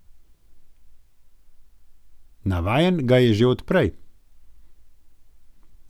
Navajen ga je že od prej.